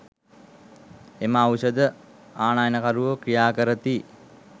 එම ඖෂධ ආනයනකරුවෝ ක්‍රියා කරති.